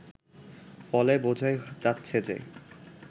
ফলে বোঝাই যাচ্ছে যে